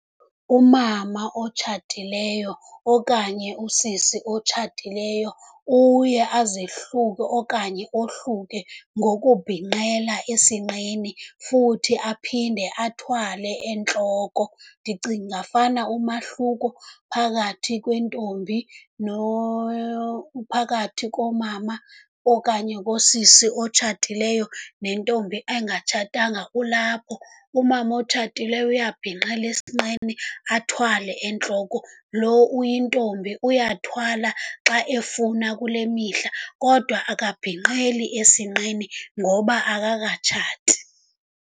Umama otshatileyo okanye usisi otshatileyo uye azihluke okanye ohluke ngokubhinqela esinqeni futhi aphinde athwale entloko. Ndicinga fana umahluko phakathi kwentombi phakathi komama okanye kosisi otshatileyo nentombi engatshatanga kulapho. Umama otshatileyo uyabhinqela esinqeni, athwale entloko. Loo uyintombi uyathwala xa efuna kule mihla, kodwa akabhinqeli esinqeni ngoba akakatshati.